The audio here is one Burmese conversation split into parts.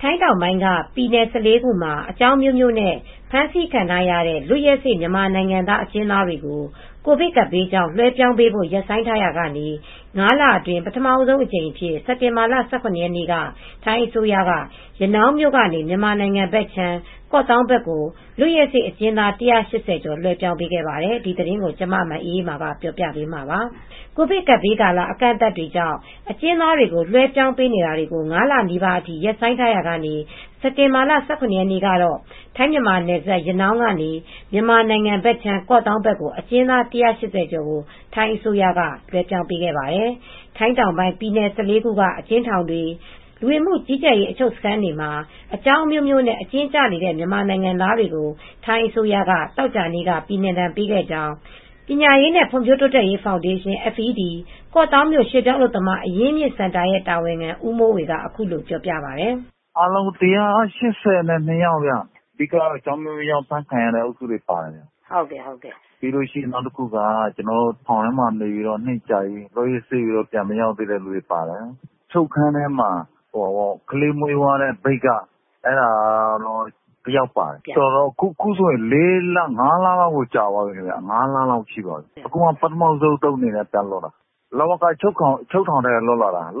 ထိုင်းတောင်ပိုင်း ပြည်နယ် ၁၄ ခုမှာ အကြောင်းအမျိုးမျိုးနဲ့ ဖမ်းဆီးခံထားရတဲ့ လွတ်ရက်စေ့ မြန်မာနိုင်ငံသား အကျဉ်းသားတွေကို ကိုဗစ်ကပ်ဘေးကြောင့် လွှဲပြောင်းပေးဖို့ ရပ်ဆိုင်းထားရာကနေ အခုတော့ လွှဲပြောင်းရေးလုပ်ငန်းတွေ ပြန်စနေပါပြီ။ ၅ လအတွင်း ပထမဆုံးအကြိမ်အဖြစ် စက်တင်ဘာလ ၁၇ ရက်နေ့ကတော့ ရနောင်းမြို့ကနေ မြန်မာနိုင်ငံ ကော့သောင်းဘက်ကို လွတ်ရက်စေ့ အကျဉ်းသား ၁၈၀ ကျော် လွှဲပြောင်းပေးခဲ့တာပါ။ အပြည့်အစုံကို ထိုင်းအခြေစိုက် ဗွီအိုအေမြန်မာပိုင်း သတင်းထောက် မအေးအေးမာ တင်ပြပေးထားပါတယ်။ ကိုဗစ်ကပ်ဘေးကာလ အကန့်အသတ်တွေကြောင့် အကျဉ်းသားတွေ လွဲှပြောင်းပေးတာတွေကို ၅ လနီးပါးအထိ ရပ်ဆိုင်းထားရာက စက်တင်ဘာလ ၁၇ ရက်နေ့ကတော့ ထိုင်း-မြန်မာနယ်စပ် ရနောင်းကနေ မြန်မာနိုင်ငံဘက်ခြမ်း ကော့သောင်းကို အကျဉ်းသား ၁၈၀ ကျော် ထိုင်းအစိုးရက လွဲှပြောင်းပေးခဲ့ပါတယ်။ ထိုင်းနိုင်ငံတောင်ပိုင်း ပြည်နယ် ၁၄ ခုက အကျဉ်းထောင်တွေ၊ လူဝင်မှုကြီးကြပ်ရေး အချုပ်စခန်းတွေမှာ အကြောင်းအမျိုးမျိုးနဲ့ အကျဉ်းကျနေတဲ့ မြန်မာနိုင်ငံသားတွေကို ထိုင်းအစိုးရက သောကြာနေ့က ပြည်နှင်ဒဏ်ပေးခဲ့ကြောင်း ပညာရေးနှင့် ဖွံ့ဖြိုးတိုးတက်ရေး ဖောင်ဒေးရှင်း ၊ ကော့သောင်းမြို့ ရွှေ့ပြောင်းအလုပ်သမား အရင်းအမြစ်စင်တာ တာဝန်ခံ ဦးမိုးဝေက အခုလိုပြောပြပါတယ်။ “အားလုံး ၁၈၂ ယောက်ဗျ၊ အဓိက အကြောင်းအမျိုးမျိုးနဲ့ ဖမ်းဆီးခံရသူတွေ ပါတယ်။ နောက်တခုက ထောင်ထဲမှာ နှစ်ကြာပြီး လွတ်ရက်စေ့သူတွေ ပါတယ်။ အချုပ်ခန်းထဲမှာ ကလေးမွေးသွားတဲ့ မြိတ်က အမျိုးသမီးတဦး ပါတယ်။ အခုဆိုရင် ၅ လ လောက်တောင် ကြာသွားပြီ။ အခုကျမှ ပထမဦးဆုံးအကြိမ် ပြန်လွတ်တာပါ။ လဝကအချုပ်ထောင်က လွတ်လာတာပါ။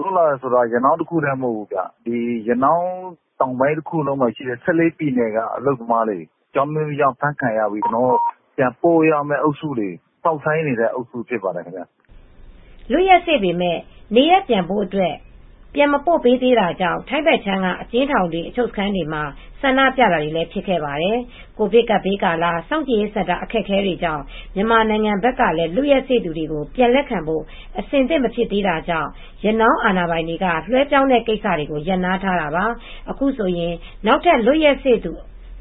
ရနောင်းတခုတည်း မဟုတ်ဘူး၊ တောင်ပိုင်းတခုလုံးက ၁၄ ပြည်နယ်က အလုပ်သမားတွေ အကြောင်းအမျိုးမျိုးကြောင့် အဖမ်းခံရပြီး ပြန်ပို့ရမယ့်အုပ်စုတွေ၊ စောင့်ဆိုင်းနေရတဲ့ အုပ်စုတွေ ဖြစ်ပါတယ်။” လွတ်ရက်စေ့ပေမယ့် နေရပ်ပြန်ဖို့အတွက် ပြန်မပို့ပေးသေးတာကြောင့် ထိုင်းဘက်ခြမ်းက အကျဉ်းထောင်တွေ၊ အချုပ်စခန်းတွေမှာ ဆန္ဒပြတာတွေလည်း ဖြစ်ခဲ့ပါတယ်။ ကိုဗစ်ကပ်ဘေးကာလ စောင့်ကြည့်ရေးစင်တာ အခက်အခဲကြောင့် မြန်မာနိုင်ငံဘက်ကလည်း လွတ်ရက်စေ့သူတွေကို ပြန်လက်ခံဖို့ အဆင်သင့် မဖြစ်သေးတာကြောင့် ရနောင်းအာဏာပိုင်တွေက လွဲှပြောင်းတဲ့ကိစ္စတွေကို ရပ်နားထားတာပါ။ အခုဆိုရင် နောက်ထပ် လွတ်ရက်စေ့သူ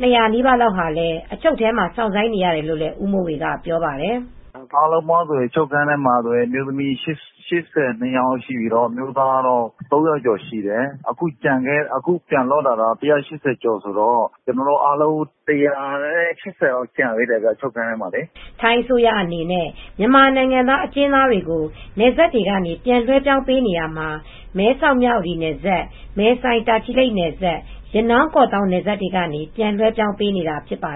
၂၀၀ နီးပါးလောက်ဟာလည်း အချုပ်ထဲမှာ စောင့်ဆိုင်းနေရတယ်လို့ ဦးမိုးဝေက ပြောပါတယ်။ “အားလုံးပေါင်း အချုပ်ခန်းထဲမှာ အမျိုးသမီး ၈၂ ယောက်ရှိပြီး အမျိုးသား ၃၀၀ ကျော်ရှိတယ်။ အခုပြန်လွတ်လာတာ ၁၈၀ ကျော်ဆိုတော့ ကျန်သေးတာ ၁၈၀ ကျော်လောက်တော့ ကျန်သေးတယ် အချုပ်ခန်းထဲမှာ။” ထိုင်းအစိုးရအနေနဲ့ မြန်မာနိုင်ငံသား အကျဉ်းသားတွေကို နယ်စပ်တွေကနေ ပြန်လွဲှပြောင်းပေးနေရာမှာ မဲဆောက်-မြဝတီနယ်စပ်၊ မယ်ဆိုင်-တာချီလိတ်နယ်စပ်၊ ရနောင်း-ကော့သောင်း နယ်စပ်တွေကနေ ပြန်လွဲှပြောင်းပေးနေတာ ဖြစ်ပါ